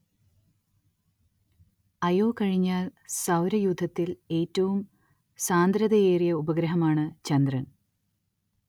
അയോ കഴിഞ്ഞാൽ സൗരയൂഥത്തിൽ ഏറ്റവും സാന്ദ്രതയേറിയ ഉപഗ്രഹമാണ്‌ ചന്ദ്രൻ.